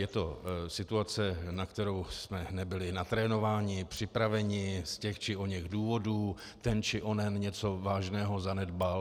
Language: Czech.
Je to situace, na kterou jsme nebyli natrénováni, připraveni z těch či oněch důvodů, ten či onen něco vážného zanedbal.